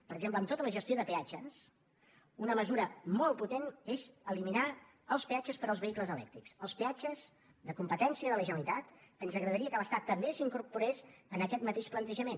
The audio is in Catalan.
per exemple en tota la gestió de peatges una mesura molt potent és eliminar els peatges per als vehicles elèctrics els peatges de competència de la generalitat ens agradaria que l’estat també s’incorporés a aquest mateix plantejament